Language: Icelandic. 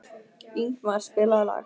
Ingmar, spilaðu lag.